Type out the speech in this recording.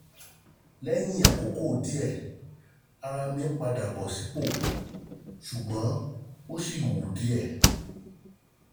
Lẹ́yìn àkókò díẹ̀, àwọ̀ ara mí padà bọ̀ sípò, ṣùgbọ́n ó sì wú síbẹ̀